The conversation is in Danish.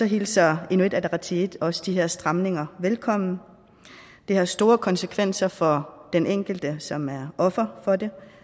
hilser inuit ataqatigiit også de her stramninger velkommen det har store konsekvenser for den enkelte som er offer for det